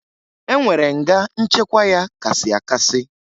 E nwere nga nchekwa ya kasị akasị